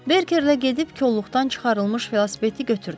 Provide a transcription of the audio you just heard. Berkerlə gedib kolluqdan çıxarılmış velosipedi götürdük.